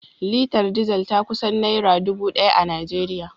Litar Diesel ta kusan naira dubu daya a Najeriya